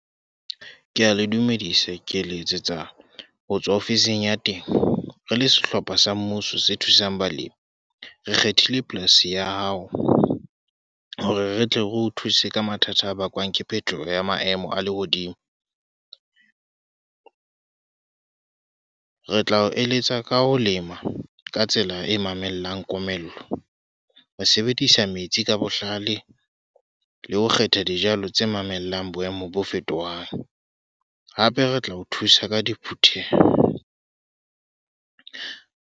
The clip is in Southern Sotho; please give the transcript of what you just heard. Ke a le dumedisa. Ke letsetsa ho tswa ofising ya temo. Re le sehlopha sa mmuso se thusang balemi. Re kgethile polasi ya hao, hore re tle re o thuse ka mathata a bakwang ke phetoho ya maemo a lehodimo. Re tla o eletsa ka ho lema ka tsela e mamellang komello. Ho sebedisa metsi ka bohlale, le ho kgetha dijalo tse mamellang boemo bo fetohang. Hape re tla o thusa ka diphutheho.